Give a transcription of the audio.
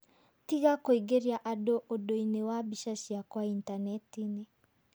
Tiga kũingeria andũ ũndũinĩ wa mbica ciakwa Intaneti-inĩ!'